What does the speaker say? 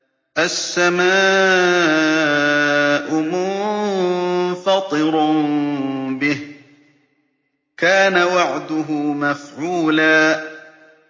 السَّمَاءُ مُنفَطِرٌ بِهِ ۚ كَانَ وَعْدُهُ مَفْعُولًا